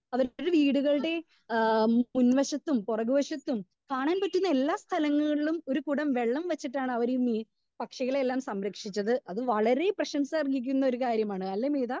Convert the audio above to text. Speaker 2 പലരുടെയും വീടുകളുടെ ആ മുൻവശത്തും പുറക് വഷത്തും കാണാൻ പറ്റുന്ന എല്ലാ സ്ഥലങ്ങളിലും ഒരു കുടം വെള്ളം വെച്ചിട്ടാണ് അവര് ഇന്ന് ഈ പക്ഷികളെ എല്ലാ സംരക്ഷിച്ചത്. അത് വളരെ പ്രശംസ അർഹിക്കുന്ന ഒര്‌ കാര്യമാണ് അല്ലേ മേത?